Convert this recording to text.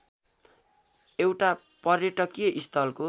एउटा पर्यटकीय स्थलको